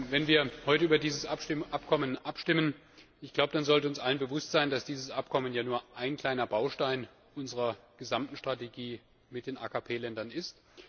Wenn wir heute über dieses Abkommen abstimmen, dann sollte uns allen bewusst sein, dass dieses Abkommen ja nur ein kleiner Baustein unserer gesamten Strategie mit den AKP Ländern ist.